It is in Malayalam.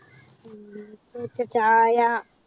എനിക്ക് ചായ